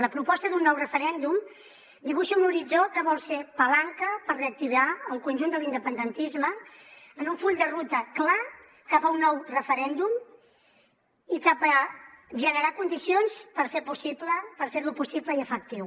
la proposta d’un nou referèndum dibuixa un horitzó que vol ser palanca per reactivar el conjunt de l’independentisme en un full de ruta clar cap a un nou referèndum i cap a generar condicions per ferlo possible i efectiu